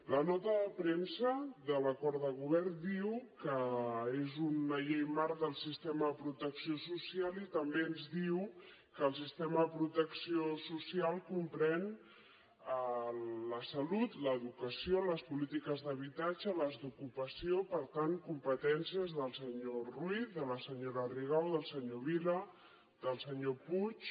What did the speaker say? la nota de premsa de l’acord de govern diu que és una llei marc del sistema de protecció social i també ens diu que el sistema de protecció social comprèn la salut l’educació les polítiques d’habitatge les d’ocupació per tant competències del senyor ruiz de la senyora rigau del senyor vila del senyor puig